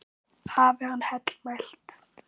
Hafi hann heill mælt.